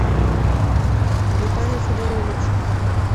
виталий федорович